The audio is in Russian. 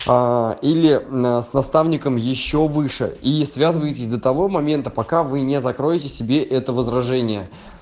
а или с наставником ещё выше и связывайтесь до того момента пока вы не закроете себе это возражение